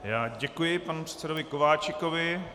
Já děkuji panu předsedovi Kováčikovi.